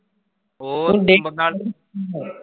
ਓਹ ਬੰਦਾ